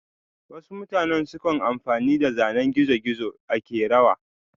wasu mutane sukan amfani da zanen gizo-gizo a kerawa.